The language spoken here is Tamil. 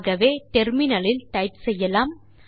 ஆகவே முனையத்தில் டைப் செய்யலாம்